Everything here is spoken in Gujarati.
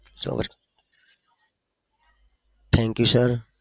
so much thank you sir